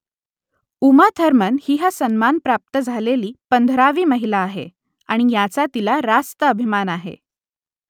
Uma Thurman ही हा सन्मान प्राप्त झालेली पंधरावी महिला आहे आणि याचा तिला रास्त अभिमान आहे